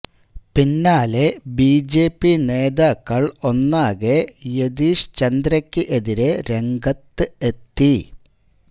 പിന്നാലെ ബിജെപി നേതാക്കള് ഒന്നാകെ യതീഷ് ചന്ദ്രയ്ക്ക് എതിരെ രംഗത്ത് എത്തി